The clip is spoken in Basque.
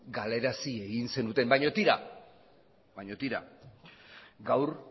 galarazi egin zenuten baina tira gaur